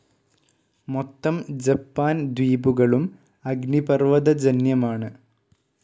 മൊത്തം ജപ്പാൻ ദ്വീപുകളും അഗ്നിപർവതജന്യമാണ്‌.